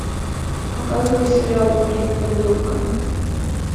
показывай сериал ужин с придурками